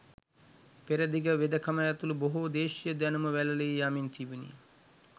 පෙරදිග වෙදකම ඇතුළු බොහෝ දේශීය දැනුම වැළලී යමින් තිබුණි.